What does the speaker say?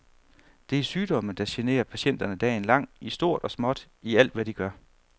Det er sygdomme, der generer patienterne dagen lang, i stort og småt, i alt hvad de gør.